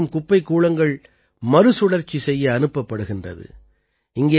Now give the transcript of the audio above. அங்கே சேரும் குப்பைக் கூளங்கள் மறுசுழற்சி செய்ய அனுப்பப்படுகிறது